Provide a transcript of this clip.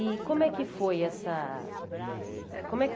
E como é que foi essa como é que